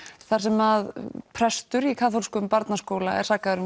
þar sem að prestur í kaþólskum barnaskóla er sakaður